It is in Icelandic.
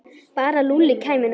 Bara að Lúlli kæmi nú.